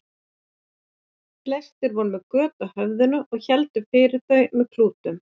Flestir voru með göt á höfðinu og héldu fyrir þau með klútum.